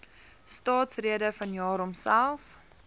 staatsrede vanjaar homself